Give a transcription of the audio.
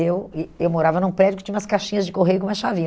Eu eh eu morava num prédio que tinha umas caixinhas de correio com uma chavinha.